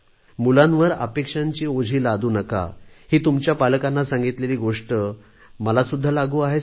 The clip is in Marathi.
मुलांवर अपेक्षांची ओझी लादू नका ही तुमच्या पालकांना सांगितलेली गोष्ट मलासुद्धा लागू आहेच